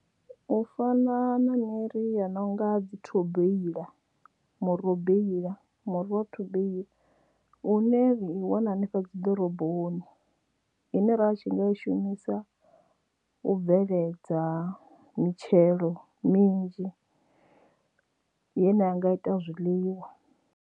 U fana na miri ya no nga dzi thobela murobeila muri wa thobeila u ne u wanala hanefha dzi ḓoroboni ine ra tshi nga i shumisa u bveledza mitshelo minzhi ye na anga ita zwiḽiwa.